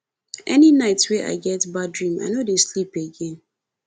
any night wey i get bad dream i no dey sleep again